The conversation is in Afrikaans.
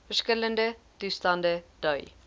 verskillende toestande dui